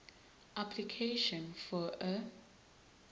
application for a